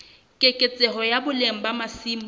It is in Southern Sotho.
keketseho ya boleng ba masimo